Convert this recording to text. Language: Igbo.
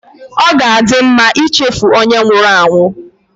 Ọ ga-adị mma ichefu onye nwụrụ anwụ